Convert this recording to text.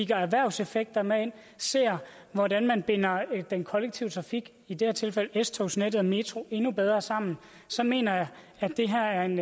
tager erhvervseffekterne med ind og ser hvordan man binder den kollektive trafik i det her tilfælde s togsnettet og metroen endnu bedre sammen så mener jeg at det her er en